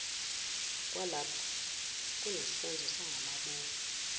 kwalapho kunesenzo sangamabomu